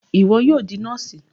Iwọ yóò di nọọsi!